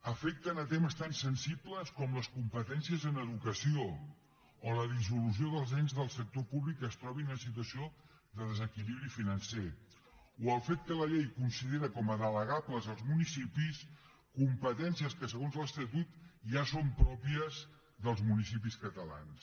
afecten temes tan sensibles com les competències en educació o la dissolució dels ens del sector públic que es trobin en situació de desequilibri financer o el fet que la llei considera com a delegables als municipis competències que segons l’estatut ja són pròpies dels municipis catalans